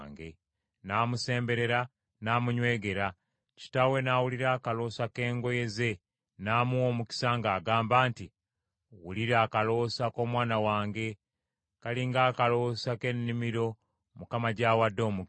N’amusemberera n’amunywegera, kitaawe n’awulira akaloosa ke ngoye ze n’amuwa omukisa ng’agamba nti, “Wulira akaloosa k’omwana wange, kali ng’akaloosa k’ennimiro Mukama gy’awadde omukisa.